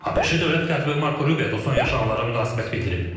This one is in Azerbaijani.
ABŞ Dövlət Katibi Marko Rubio da son yaşananlara münasibət bildirib.